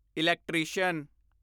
electrician